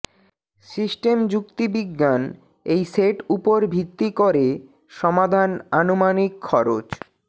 system যুক্তিবিজ্ঞান এই set উপর ভিত্তি করে সমাধান আনুমানিক খরচ